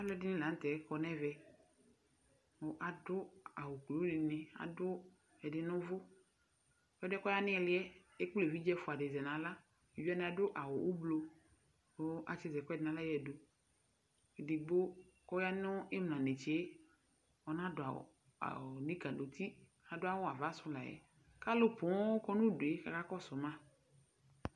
Alʋ ɛdini la n'tɛ kɔ n'ɛvɛ kʋ adʋ awʋ kulu dini, adʋ ɛdi nʋ ʋvʋ Ɛdi yɛ k'ɔya nili yɛ ekpl'evidze ɛfua di zɛ n'aɣla Eviɖze wani adʋ awʋ ʋblo kʋ atsi z'ɛɛkʋɛdi n'aɣla yǝdu Edigbo k'ɔya n'imla netse ɔna dʋ awʋ aʋ nuka n'uti, adʋ awʋ ava si layɛ k'alʋ pooo kɔ nʋ udue k'aka kɔsʋ ma